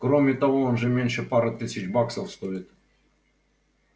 кроме того он же не меньше пары тысяч баксов стоит